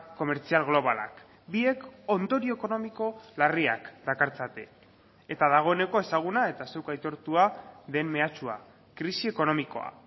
komertzial globalak biek ondorio ekonomiko larriak dakartzate eta dagoeneko ezaguna eta zuk aitortua den mehatxua krisi ekonomikoa